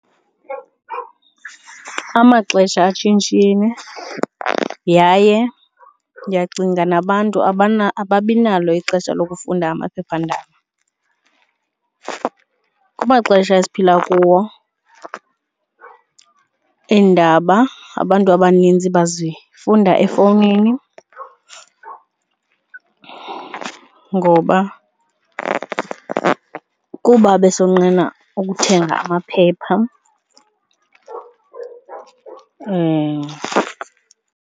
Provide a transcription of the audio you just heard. Amaxesha atshintshile yaye ndiyacinga nabantu ababi nalo ixesha lokufunda amaphephandaba. Amaxesha esiphila kuwo iindaba abantu abaninzi bazifunda efowunini ngoba kuba besonqena ukuthenga amaphepha .